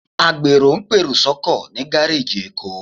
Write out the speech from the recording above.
Àgbèrò pèrò sọ́kọ̀ ní gáréèjì èkó